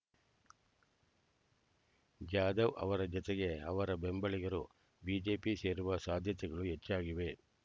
ಜಾಧವ್ ಅವರ ಜತೆಗೆ ಅವರ ಬೆಂಬಲಿಗರು ಬಿಜೆಪಿ ಸೇರುವ ಸಾಧ್ಯತೆಗಳು ಹೆಚ್ಚಾಗಿವೆ